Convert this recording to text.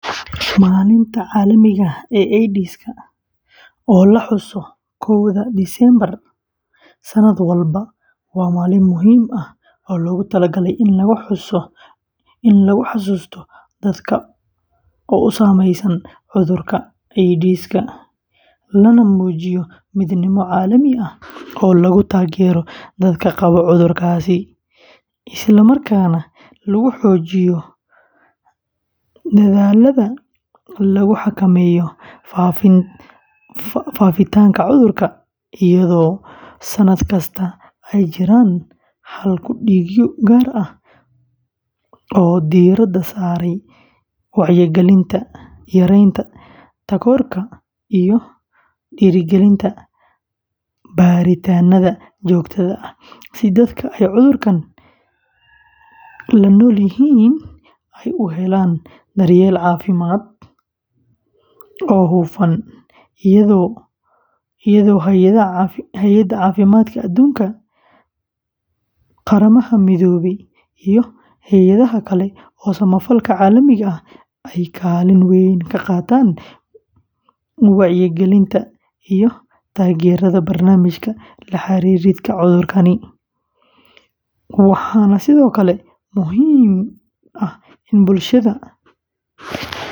Maalinta Caalamiga ah ee AIDS-ka, oo la xuso koowda Diseembar sanad walba, waa maalin muhiim ah oo loogu talagalay in lagu xasuusto dadka uu saameeyey cudurka AIDS-ka, lana muujiyo midnimo caalami ah oo lagu taageerayo dadka qaba HIV-ga, isla markaana lagu xoojiyo dadaallada lagu xakameynayo faafitaanka cudurka, iyadoo sanadka kasta ay jiraan hal-ku-dhigyo gaar ah oo diiradda saaraya wacyigelinta, yareynta takoorka, iyo dhiirrigelinta baaritaannada joogtada ah, si dadka ay cudurkan la nool yihiin ay u helaan daryeel caafimaad oo hufan, iyadoo Hay’adda Caafimaadka Adduunka, Qaramada Midoobay, iyo hay’adaha kale ee samafalka caalamiga ah ay kaalin weyn ka qaataan wacyigelinta iyo taageeridda barnaamijyada la xiriira cudhurkaani, waxaana sidoo kale muhiim ah in bulshada.